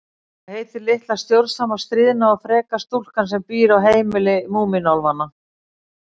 Hvað heitir litla stjórnsama, stríðna og freka stúlkan sem býr á heimili Múmínálfanna?